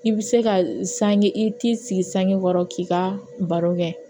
I bɛ se ka sange i t'i sigi sangekɔrɔ k'i ka baro kɛ